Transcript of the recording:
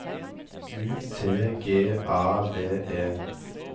U T G A V E